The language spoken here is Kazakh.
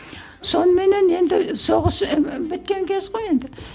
соныменен енді соғыс ы біткен кез ғой енді